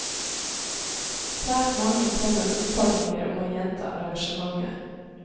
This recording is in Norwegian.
Svært mange kom med oppfordringer om å gjenta arrangementet.